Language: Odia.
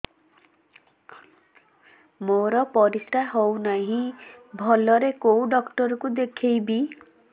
ମୋର ପରିଶ୍ରା ହଉନାହିଁ ଭଲରେ କୋଉ ଡକ୍ଟର କୁ ଦେଖେଇବି